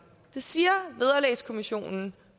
det siger vederlagskommissionen